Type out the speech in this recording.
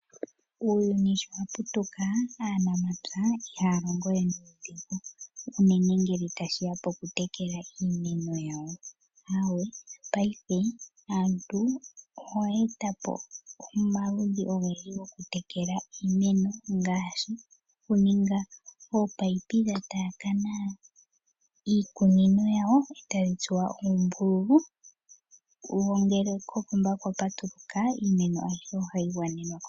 Uuyuni sho wa putuka , aanamapya ihaya longo we nomatemo unene ngele tashi ya pokutekela iimeno yawo. Aawe paife aantu oyeeta po omaludhi ogendji gokutekela iimeno ngaashi okuninga oopaipi dha taakana iikunino yawo etadhi tsuwa oombululu wo ngele kopomba kwa patuluka iimeno ayihe ohayi gwanenwa komeya.